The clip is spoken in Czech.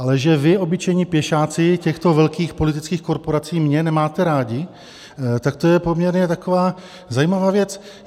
Ale že vy, obyčejní pěšáci těchto velkých politických korporací, mě nemáte rádi, tak to je poměrně taková zajímavá věc.